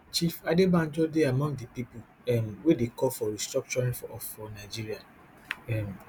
chief adebanjo dey among di pipo um wey dey call for restructuring for nigeria um